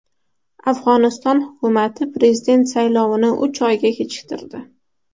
Afg‘oniston hukumati prezident saylovini uch oyga kechiktirdi.